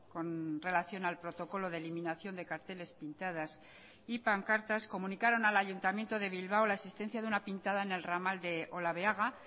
con relación al protocolo de eliminación de carteles pintadas y pancartas comunicaron al ayuntamiento de bilbao la existencia de una pintada en el ramal de olabeaga